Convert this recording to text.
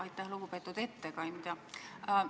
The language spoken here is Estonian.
Aitäh, lugupeetud ettekandja!